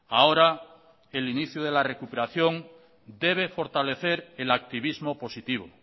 ahora el inicio de la recuperación debe fortalecer el activismo positivo